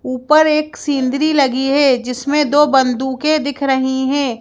ऊपर एक सींदरी लगी है जिसमें दो बंदूकें दिख रही हैं।